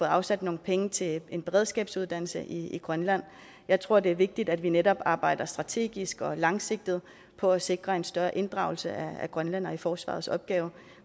afsat nogle penge til en beredskabsuddannelse i grønland jeg tror det er vigtigt at vi netop arbejder strategisk og langsigtet på at sikre en større inddragelse af grønlændere i forsvarets opgaver